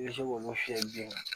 I bɛ se k'olu fiyɛ biyɛn kan